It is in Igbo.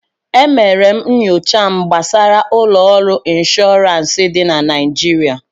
E mere m nyocha m gbasara ụlọ ọrụ ịnshọọransị dị na Naịjirịa